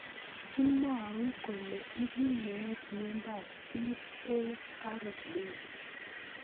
Kimwau kole ipu meet miondop TARP